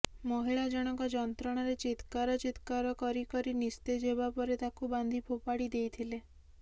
ମହିଳା ଜଣକ ଯନ୍ତ୍ରଣାରେ ଚିତ୍କାର ଚିତ୍କାର କରି କରି ନିସ୍ତେଜ ହେବା ପରେ ତାକୁ ବାନ୍ଧି ଫୋପାଡି ଦେଇଥିଲେ